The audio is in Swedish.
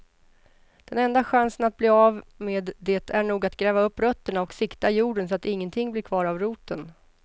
Den enda chansen att bli av med det är nog att gräva upp rötterna och sikta jorden så att ingenting blir kvar av roten.